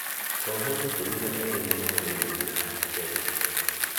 Ohwo ĩkumĩ na eerĩ nĩmahũrwo rithathi Kenya